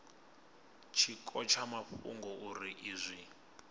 tshiko tsha mafhungo uri izwi